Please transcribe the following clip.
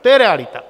To je realita.